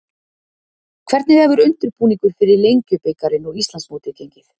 Hvernig hefur undirbúningur fyrir Lengjubikarinn og Íslandsmótið gengið?